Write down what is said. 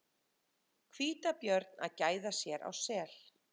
Hvítabjörn að gæða sér á sel.